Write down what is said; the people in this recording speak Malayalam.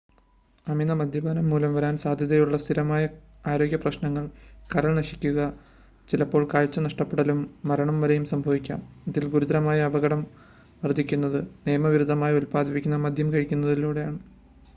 അമിത മദ്യപാനം മൂലം വരാന സാധ്യതയുള്ള സ്ഥിരമായ ആരോഗ്യപ്രശ്നങ്ങൾ കരൾ നശിക്കുക ചിലപ്പോൾ കാഴ്ച നഷ്ടപ്പെടലും മരണം വരെയും സംഭവിക്കാം ഇതിൽ ഗുരുതരമായ അപകടം വർദ്ധിക്കുന്നത് നിയമവിരുദ്ധമായി ഉൽപ്പാദിപ്പിക്കുന്ന മദ്യം കഴിക്കുന്നതിനാലാണ്